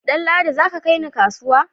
Danladi, za ka kai ni kasuwa!